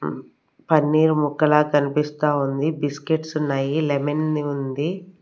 పన్నీరు ముక్కలా కన్పిస్తా ఉంది బిస్కెట్సున్నాయి లెమన్ ది ఉంది.